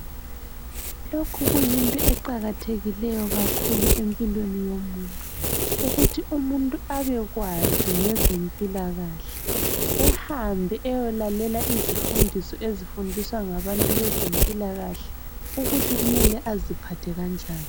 Lokhu kuyitho eqakathekileyo kakhulu empilweni yomuntu ukuthi umuntu abekwazi ngezempilakahle. Ehambe eyolalela izifundiso ezifundiswa ngabezempilakahle ukuthi kumele aziphathe kanjani.